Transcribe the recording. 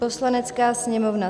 "Poslanecká sněmovna